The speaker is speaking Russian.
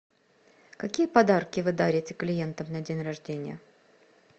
какие подарки вы дарите клиентам на день рождения